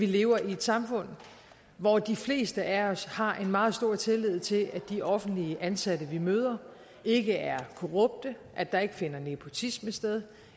lever i et samfund hvor de fleste af os har meget stor tillid til at de offentligt ansatte vi møder ikke er korrupte at der ikke finder nepotisme sted